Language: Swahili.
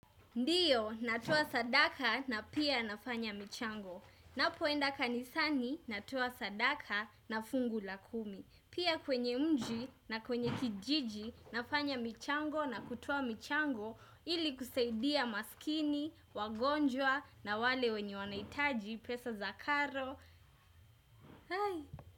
Ndiyo, natoa sadaka na pia nafanya michango. Napoenda kanisani, natoa sadaka na fungu la kumi. Pia kwenye mji na kwenye kijiji, nafanya michango na kutoa michango. Ili kusaidia maskini, wagonjwa na wale wenye wanaitaji pesa za karo.